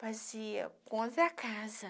Fazia conta da casa.